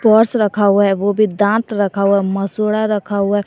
Purse रखा हुआ है वो भी दांत रखा हुआ मसूड़ा रखा हुआ है।